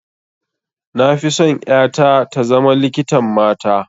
Na fi son ƴata ta zama likitan mata